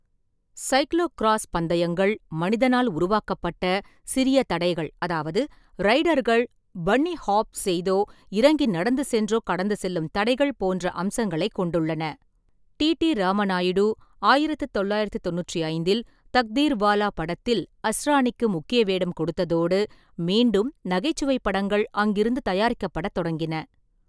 Cyclocross பந்தயங்கள் மனிதனால் உருவாக்கப்பட்ட சிறிய தடைகள், அதாவது ரைடர்கள் பன்னி ஹாப் செய்தோ இறங்கி நடந்து சென்றோ கடந்து செல்லும் தடைகள் போன்ற அம்சங்களைக் கொண்டுள்ளன. டி. டி. ராமநாயுடு ஆயிரத்து தொள்ளாயிரத்து தொண்ணூற்றி ஐந்தில் தக்தீர்வாலா படத்தில் அஸ்ராணிக்கு முக்கிய வேடம் கொடுத்ததோடு, மீண்டும் நகைச்சுவைப் படங்கள் அங்கிருந்து தயாரிக்கப்படத் தொடங்கின.